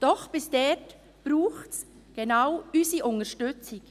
Doch bis dorthin braucht es genau unsere Unterstützung.